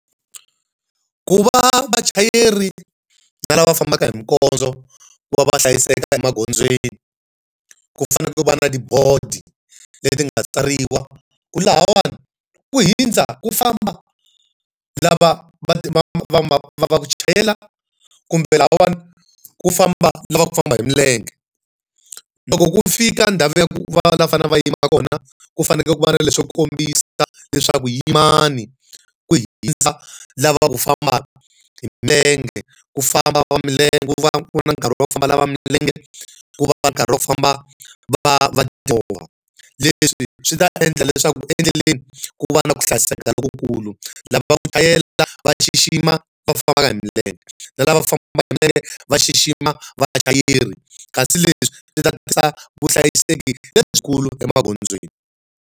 Ku va vachayeri na lava va fambaka hi minkondzo ku va va hlayiseka emagondzweni, ku fanele ku va na tibodo leti nga tsariwa ku lahawani ku hundza ku famba lava va va va ku chayela kumbe lahawani ku famba lava ku famba hi milenge. Loko ku fika ndhawu ya ku va fanekele va yima kona, ku fanekele ku va na leswo kombisa leswaku yimani ku hundza lava va ku famba hi milenge, ku famba va milenge ku va ku ri na nkarhi wa ku famba lava milenge. Ku va na nkarhi wa ku famba va va timovha. Leswi leswi swi ta endla leswaku endleleni ku va na ku hlayiseka lokukulu. Lava va ku chayela va xixima va fambaka hi milenge, na lava famba hi milenge va xixima vachayeri. Kasi leswi swi ta tisa vuhlayiseki lebyikulu emagondzweni.